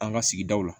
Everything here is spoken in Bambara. An ka sigidaw la